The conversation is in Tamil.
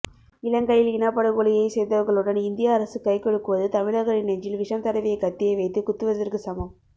இலங்கையில் இனப்படுகொலையை செய்தவர்களுடன் இந்திய அரசு கைக்குலுக்குவது தமிழர்களின் நெஞ்சில் விஷம் தடவிய கத்தியை வைத்து குத்துவதற்கு சமம்